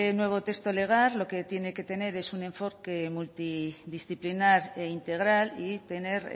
nuevo texto legal lo que tiene que tener es un enfoque multidisciplinar e integral y tener